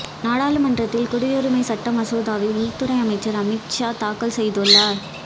நாடாளுமன்றத்தில் குடியுரிமைச் சட்ட மசோதாவை உள்துறை அமைச்சா் அமித்ஷா தாக்கல் செய்துள்ளாா்